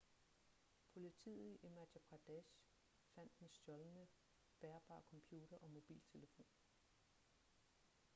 politiet i madhya pradesh fandt den stjålne bærbare computer og mobiltelefon